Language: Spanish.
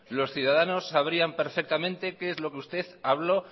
los ciudadanos sabrían perfectamente qué es lo que usted habló